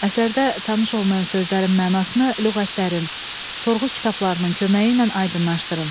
Əsərdə tanış olmayan sözlərin mənasını lüğətlərin, sorğu kitablarının köməyi ilə aydınlaşdırın.